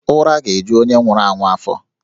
Ụra ga-eju onye nwụrụ anwụ afọ